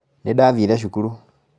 Nĩndathire cukuru